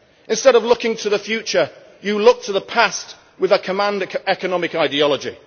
Instead of looking to the future, you look to the past with a command economy' ideology.